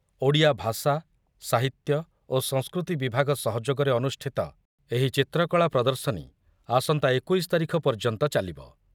ଓଡ଼ିଆ ଭାଷା, ସାହିତ୍ୟ ଓ ସଂସ୍କୃତି ବିଭାଗ ସହଯୋଗରେ ଅନୁଷ୍ଠିତ ଏହି ଚିତ୍ରକଳା ପ୍ରଦର୍ଶନୀ ଆସନ୍ତା ଏକୋଇଶ ତାରିଖ ପର୍ଯ୍ୟନ୍ତ ଚାଲିବ